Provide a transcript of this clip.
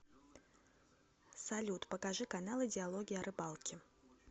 салют покажи каналы диалоги о рыбалке